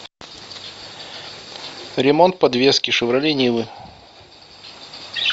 ремонт подвески шевроле нивы